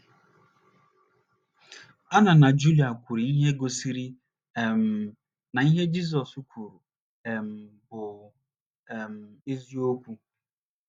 Anna na Julia kwuru ihe gosiri um na ihe a Jizọs kwuru um bụ um eziokwu.